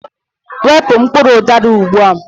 Wepu mkpụrụ udara ugbu a!